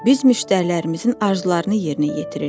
Biz müştərilərimizin arzularını yerinə yetiririk.